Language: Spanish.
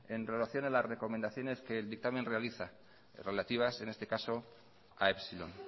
en relación a las recomendaciones que el dictamen realiza relativas en este caso a epsilon